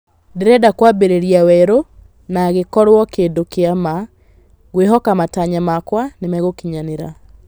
Ndĩrenda kwambĩrĩria werũ na gĩkorwo kĩndũ kĩa ma, ngwĩhoka matanya makwa nĩmegũkinyanĩra.